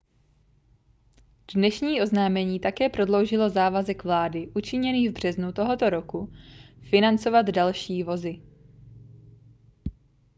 dnešní oznámení také prodloužilo závazek vlády učiněný v březnu tohoto roku financovat další vozy